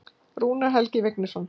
Rúnar Helgi Vignisson.